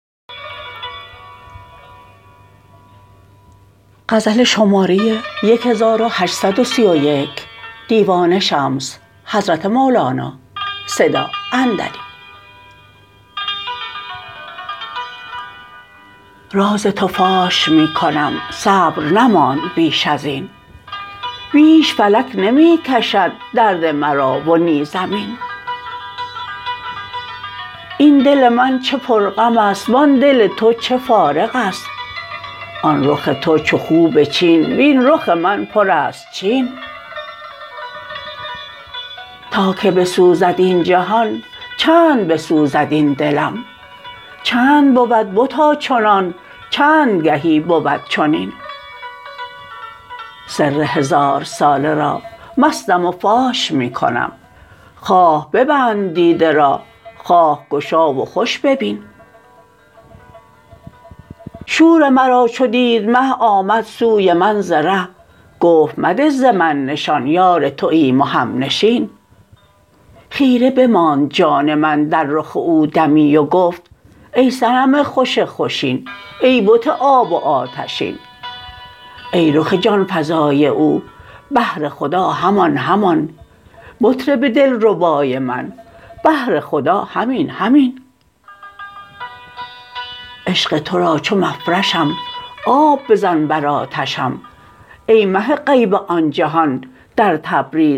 راز تو فاش می کنم صبر نماند بیش از این بیش فلک نمی کشد درد مرا و نی زمین این دل من چه پرغم است وآن دل تو چه فارغ است آن رخ تو چو خوب چین وین رخ من پرست چین تا که بسوزد این جهان چند بسوزد این دلم چند بود بتا چنان چند گهی بود چنین سر هزارساله را مستم و فاش می کنم خواه ببند دیده را خواه گشا و خوش ببین شور مرا چو دید مه آمد سوی من ز ره گفت مده ز من نشان یار توایم و همنشین خیره بماند جان من در رخ او دمی و گفت ای صنم خوش خوشین ای بت آب و آتشین ای رخ جان فزای او بهر خدا همان همان مطرب دلربای من بهر خدا همین همین عشق تو را چو مفرشم آب بزن بر آتشم ای مه غیب آن جهان در تبریز شمس دین